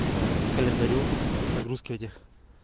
я и календарю загрузки этих